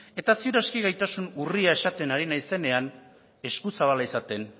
eta seguru aski gaitasun urria esaten ari naizenean eskuzabala izaten